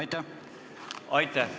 Aitäh!